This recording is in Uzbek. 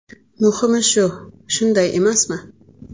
Muhimi shu, shunday emasmi?